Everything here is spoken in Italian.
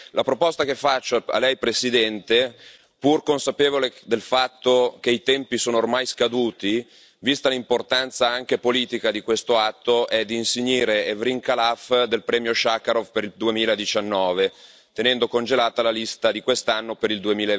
La proposta che faccio a Lei, Presidente, pur consapevole del fatto che i tempi sono ormai scaduti, vista l'importanza anche politica di questo atto, è di insignire Evrin Khalaf del premio Sacharov per il 2019, tenendo congelata la lista di quest'anno per il